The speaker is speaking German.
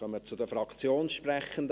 Wir kommen zu den Fraktionssprechenden.